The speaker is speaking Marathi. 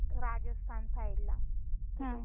त्याने स्टेटस ला टाकल होत परवा.